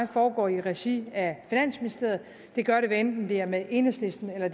foregår i regi af finansministeriet og det gør de hvad enten det er med enhedslisten eller